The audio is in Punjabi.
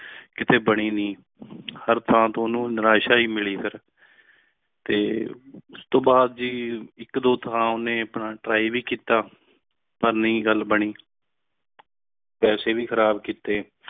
ਕਿਥੇ ਬਾਣੀ ਨਹੀਂ ਤੇ ਹਰ ਥਾਂ ਤੋਂ ਉਨਹੂ ਨਿਰਾਸ਼ਾ ਹੈ ਮਿਲੀ ਫਿਰ ਤੇ ਉਸ ਤੋਂ ਬਾਦ ਜੀ ਇਕ ਦੋ ਥਾਂ ਤੇ ਉਸਨੇ ਆਪਣਾ try ਭੀ ਕਿੱਤਾ ਪਾਰ ਨਹੀਂ ਗੱਲ ਬਾਣੀ ਪੈਸੇ ਭੀ ਖ਼ਰਾਬ ਕਿੱਤੇ